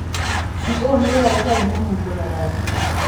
CO nĩ rĩera rĩtarĩ mũnungo na rangi.